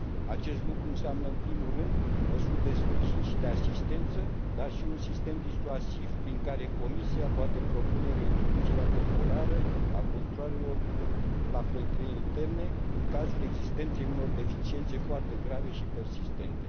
Acest lucru înseamnă, în primul rând, măsuri de sprijin și de asistență, dar și un sistem disuasiv, prin care Comisia poate propune reintroducerea temporară a controalelor la frontierele interne, în cazul existenței unor deficiențe foarte grave și persistente.